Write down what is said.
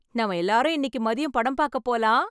நாம எல்லாரும் இன்னிக்கு மதியம் படம் பாக்க போகலாம்.